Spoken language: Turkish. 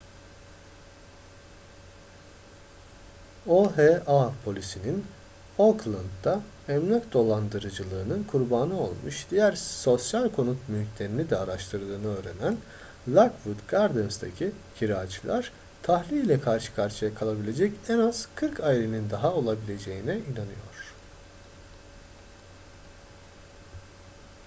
oha polisinin oakland'da emlak dolandırıcılığının kurbanı olmuş diğer sosyal konut mülklerini de araştırdığını öğrenen lockwood gardens'taki kiracılar tahliye ile karşı karşıya kalabilecek en az 40 ailenin daha olabileceğine inanıyor